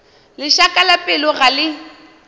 lešaka la pelo ga le